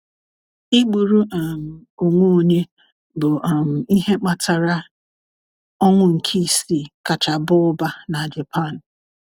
Ịgburu um onwe onye bụ um ihe kpatara ọnwụ nke isii kacha baa ụba na Japan.